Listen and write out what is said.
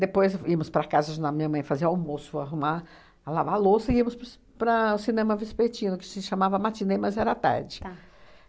Depois, íamos para a casa ajudar minha mãe fazer almoço, arrumar, a lavar a louça, e íamos para os para o cinema Vespertino, que se chamava Matinê, mas era a tarde. Tá.